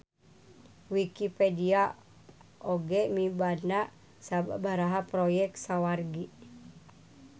Wikipedia oge mibanda sababaraha proyek sawargi.